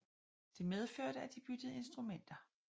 Det medførte at de byttede instrumenter